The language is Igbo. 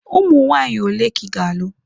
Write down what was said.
Ụmụ nwaanyị ole ka ị ga-alụ?